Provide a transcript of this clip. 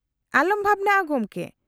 -ᱟᱞᱚᱢ ᱵᱷᱟᱵᱱᱟᱜᱼᱟ ᱜᱚᱢᱠᱮ ᱾